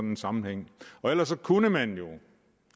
en sammenhæng ellers kunne man jo